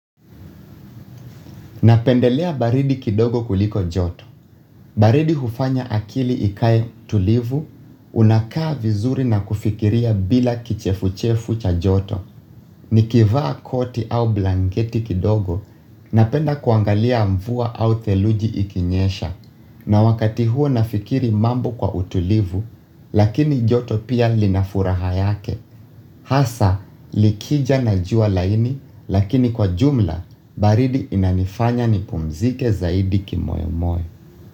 Napendelea baridi kidogo kuliko joto. Baridi hufanya akili ikae tulivu, unakaa vizuri na kufikiria bila kichefu-chefu cha joto. Nikivaa koti au blangeti kidogo, napenda kuangalia mvua au theluji ikinyesha. Na wakati huo nafikiri mambo kwa utulivu, lakini joto pia linafuraha yake. Hasa likija na juwa laini lakini kwa jumla baridi inanifanya nipumzike zaidi kimoyomoyo.